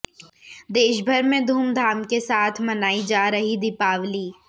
देशभर में धूमधाम के साथ मनाई जा रही दीपावली